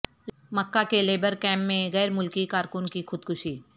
مکہ کے labour camp میں غیر ملکی کارکن کی خود کشی